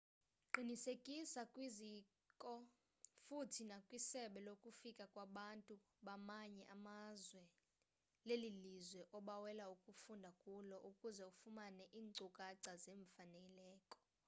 qinisekisa kwizikoo futhi nakwisebe lokufika kwabantu bamanye amazwe lelilizwe obawela ukufunda kulo ukuze ufumane iinkcukacha zeemfaneleko